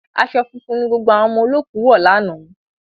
Aṣọ funfun ni gbogbo àwọn ọmọ olóòkú wọ̀ lánàá